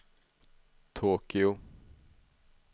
Tokyo